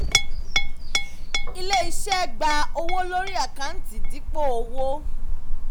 ilé-iṣẹ́ gba owó lórí àkáǹtì dípò owó.